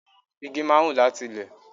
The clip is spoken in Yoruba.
Igi máa ń wù láti ilé.